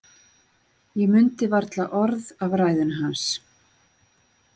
Ég mundi varla orð af ræðunni hans.